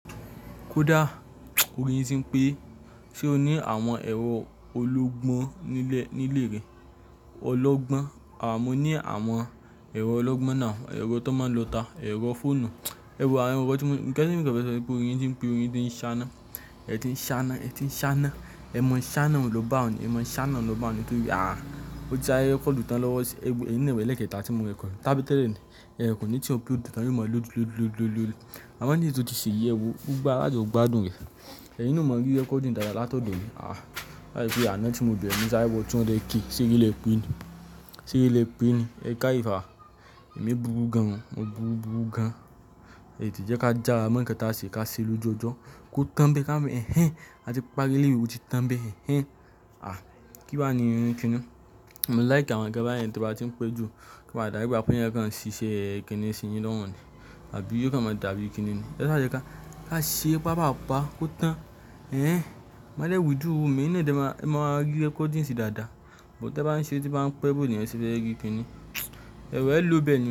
Kódá orí yin tí ń pé, ṣe o ní àwọn ẹ̀rọ ológbọ́n nílé rẹ? Ológbọ́n, àmọ́ ní àwọn ẹ̀rọ ológbọ́n náà, ẹ̀rọ tó máa ń lo ta, ẹ̀rọ fóònù, ẹ̀wo àwọn nkan tí mo, nkan tí mò ń fẹ́ sọ ni pé oyin tí ń pè, oyin tí ń ṣáná, ẹ́ ti ń ṣáná, ẹ́ ti ń ṣáná, ẹ́ mọ ṣáná, òun ló bá òun, ẹ́ mọ ṣáná, òun ló bá òun tó rí, ah. Ó já recording tán lọ́wọ́ ẹ, ẹni ìwé lékè ta tí mo rẹkọ̀, tábìtì rẹ ni, ẹ́ kò ní ṣe recording tán, ó mọ̀ lu lu lu lu lu. Àwọn eléyìí tó ti ṣe iye ẹ wòó gbogbo ara tí ó gbádùn rẹ̀. Ẹyin náà ò mọ̀ rí recording dáadáa láti ọ̀dọ̀ mi. Ah, láti ìyà náà tí mo bẹ̀rẹ̀ ní ṣáyẹwò tí wọ́n lè kí i, ṣé kí lè pín i, ṣé kí lè pín i, ẹ ká ìfàà, èmi burú gan, mo burú burú gan. Èyí tí jẹ́ ká jà á mọ̀ọ́kàn ta sì ká ṣe lójojọ́, kó tọ̀ bẹ́ẹ̀ ká mọ̀ ẹ́, hinhin. A ti parí eleyi un oti tọ̀n bẹ́ẹ̀ hinhin. Ah, kí wá ni irin kíni. Mo like àwọn ọ̀rẹ́ nkan báyẹn tí wọ́n bá tí ń pẹ́ jù. O má dàbí wípé ènìyàn kan ṣiṣẹ́ kìni sí yín lọ́hùn ní. Àbí yóò máa dàbí kìnì ni. Ẹ sáà jẹ́ ká, ká ṣe pápàá pa kó tàn. Ẹ̀hẹn, má dẹ́ withdraw owó mi ẹyin náà dẹ máa, ẹ máa rí recording sí dáadáa. Buh tí ẹ bá ń ṣe, tí bá ń pẹ́, bí òní ẹ́ ṣe fẹ́ rí kìnì. Ẹ wo ẹ lo bẹ́ẹ̀nì ní o.